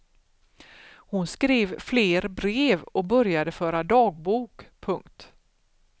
Hon skrev fler brev och började föra dagbok. punkt